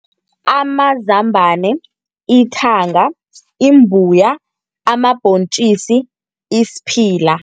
Amazambana, ithanga, imbuya, amabhontjisi, isiphila.